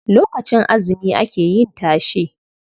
Lokacin azumi ake yin tashe.